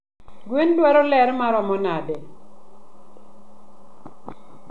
Gwen dwaro lerr maromo nade?